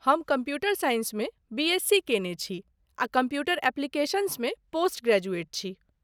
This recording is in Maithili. हम कम्प्यूटर साइंसमे बीएस. सी. केने छी आ कम्प्यूटर ऍप्लिकेशन्समे पोस्ट ग्रेजुएट छी।